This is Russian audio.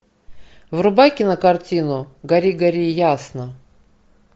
врубай кинокартину гори гори ясно